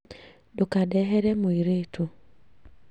Ndũkandehere mũirĩtu